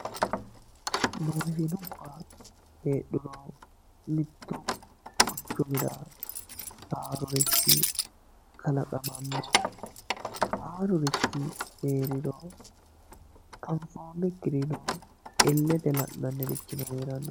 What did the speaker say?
Maashinubba heedhuro mitu quchumira haaruri kalaqamano haarurichi heeriro anfoonikkirino ilete la'nannirichino heerano.